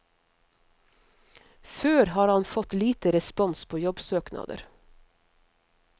Før har han fått lite respons på jobbsøknader.